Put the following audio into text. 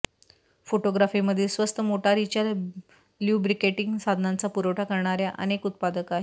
फोटोग्राफीमधील स्वस्त मोटारीच्या ल्युब्रिकेटिंग साधनांचा पुरवठा करणार्या अनेक उत्पादक आहेत